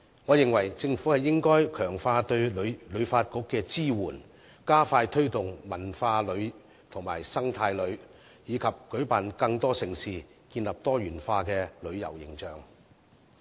我認為政府應該強化對旅發局的支援，加快推動文化旅遊和生態旅遊，以及舉辦更多盛事，建立多元化的旅遊形象。